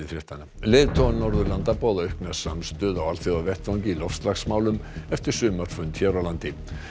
leiðtogar Norðurlanda boða aukna samstöðu á alþjóðavettvangi í loftslagsmálum eftir sumarfund hér á landi